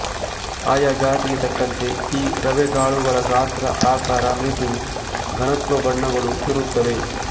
ಆಯಾ ಜಾತಿಗೆ ತಕ್ಕಂತೆ ಈ ರವೆಗಾಳುಗಳ ಗಾತ್ರ ಆಕಾರ ಮೆತುವು ಘನತ್ವ ಬಣ್ಣಗಳು ಇರುತ್ತವೆ